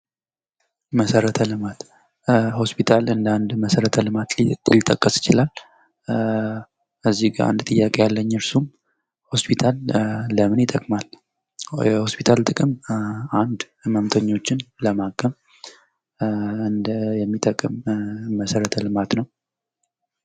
መሠረተ ልማት ሆስፒታል እንደ አንድ መሠረተ ልማት ሊጠቀስ ይችላል። እዚህ ጋር አንድ ጥያቄ አለኝ እርሱም ሆስፒታል ለምን ይጠቅማል? የሆስፒታል ጥቅም አንድ ሕመምተኞችን ለማከም እንደ የሚጠቅም መሰረተ ልማት ነው።